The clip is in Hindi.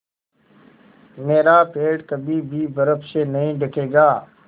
मेरा पेड़ कभी भी बर्फ़ से नहीं ढकेगा